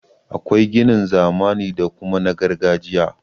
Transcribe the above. Akwai ginin zamani da kuma na gargajiya.